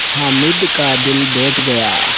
हामिद का दिल बैठ गया